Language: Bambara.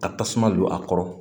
Ka tasuma don a kɔrɔ